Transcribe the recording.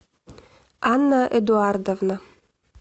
анна эдуардовна